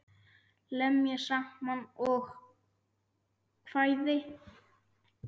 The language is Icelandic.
Lemja saman ljóð og kvæði.